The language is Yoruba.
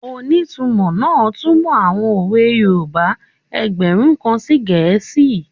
Onítumọ̀ náà túnmọ̀ àwọn òwe yoòbá ẹgbẹ̀rún kan sí gẹ̀ẹ́sì